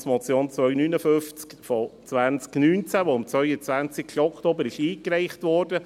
Es ist die Finanzmotion 259-2019, welche am 22. Oktober eingereicht wurde.